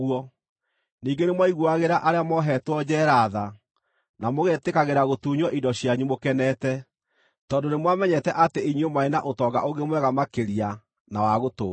Ningĩ nĩmwaiguagĩra arĩa mohetwo njeera tha, na mũgetĩkagĩra gũtunywo indo cianyu mũkenete, tondũ nĩmwamenyete atĩ inyuĩ mwarĩ na ũtonga ũngĩ mwega makĩria na wa gũtũũra.